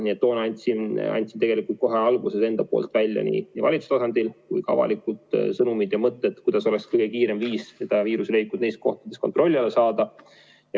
Nii et toona ma tegelikult kohe alguses nii valitsuse tasandil kui ka avalikult välja mõtteid, milline oleks kõige kiirem viis viiruse levik neis kohtades kontrolli alla saada.